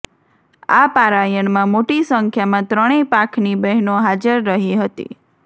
આ પારાયણમાં મોટી સંખ્યામાં ત્રણેય પાંખની બહેનો હાજર રહી હતી